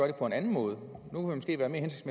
det på en anden måde og